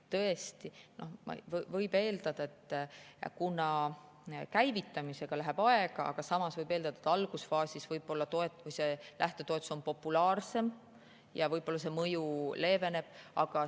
Tõesti, võib eeldada, et käivitamisega läheb aega, aga samas võib eeldada, et algusfaasis võib-olla see lähtetoetus on populaarsem ja võib-olla see mõju leeveneb.